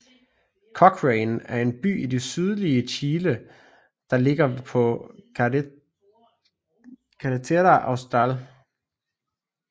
Cochrane er en by i det sydlige Chile der ligger på Carretera Austral